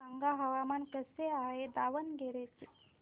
सांगा हवामान कसे आहे दावणगेरे चे